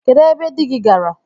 Kedụ ebe di gị gaara?